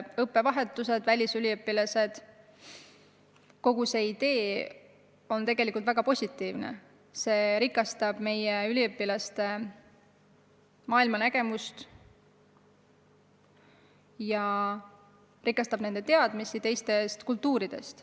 Õppevahetused, välisüliõpilased – kogu see ideestik on tegelikult väga positiivne, see rikastab meie tudengite maailmapilti ja nende teadmisi teistest kultuuridest.